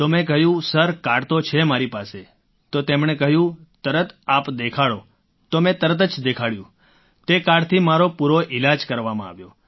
તો મેં કહ્યું સર કાર્ડ તો છે મારી પાસે તો તેમણે કહ્યું તરત આપ દેખાડો તો મેં તરત જ દેખાડ્યું તે કાર્ડથી મારો પૂરો ઈલાજ કરવામાં આવ્યો